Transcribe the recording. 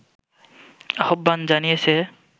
আহ্বান জানিয়েছে